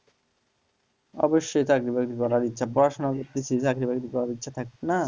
অবশ্যই চাকরি-বাকরি করার ইচ্ছে পড়াশোনা করতেছি চাকরিবাকরি করার ইচ্ছা থাকবে না?